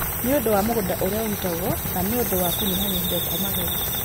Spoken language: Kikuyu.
nĩ ũndũ wa mũgũnda ũrĩa ũrutagwo na nĩ ũndũ wa kũnyihanyihĩrio kwa magetha,